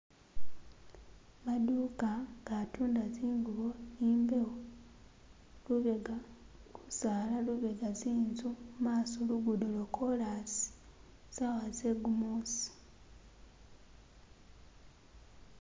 Maduka gatunda zingubo imbewo, lubega gusala lubega tsinzu maso lugudo lwo korasi sawa ze gumusi.